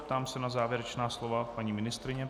Ptám se na závěrečná slova paní ministryně.